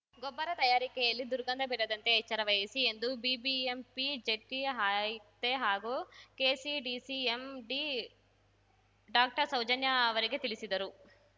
ಗೊಬ್ಬರ ತಯಾರಿಕೆಯಲ್ಲಿ ದುರ್ಗಂಧ ಬೀರದಂತೆ ಎಚ್ಚರವಹಿಸಿ ಎಂದು ಬಿಬಿಎಂಪಿ ಜಂಟಿ ಆಯುಕ್ತೆ ಹಾಗೂ ಕೆಸಿಡಿಸಿ ಎಂಡಿಡಾಕ್ಟರ್ಸೌಜನ್ಯಾ ಅವರಿಗೆ ತಿಳಿಸಿದರು